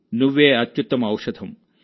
నువ్వే అత్యుత్తమ ఔషధం